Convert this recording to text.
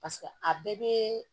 Paseke a bɛɛ bɛ